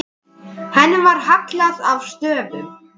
Henni var hallað að stöfum.